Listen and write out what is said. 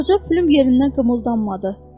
Qoca pürüm yerindən qımıldanmadı.